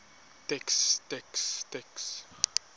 text text text